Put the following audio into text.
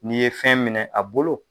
Ni ye fɛn minɛ a bolo